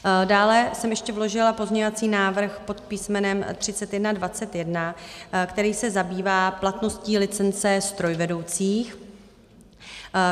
Dále jsem ještě vložila pozměňovací návrh pod písmenem 3121, který se zabývá platností licence strojvedoucích.